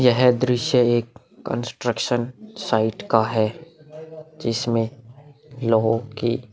यह दृश्य एक कंस्ट्रक्शन साइट का है जिसमें लोगों की --